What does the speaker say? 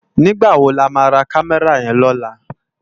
Nigbá má wó lá má rá Kàmèrá yèn lòlá?